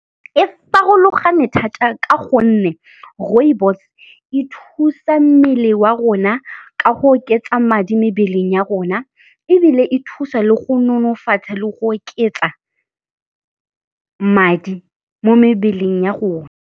E farologane thata ka gonne rooibos e thusa mmele wa rona ka go oketsa madi mebeleng ya rona, ebile e thusa le go nonofatsa le go oketsa madi mo mebeleng ya rona.